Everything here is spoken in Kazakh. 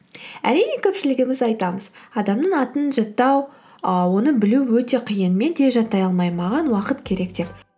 әрине көпшілігіміз айтамыз адамның атын жаттау ы оны білу өте қиын мен тез жаттай алмаймын маған уақыт керек деп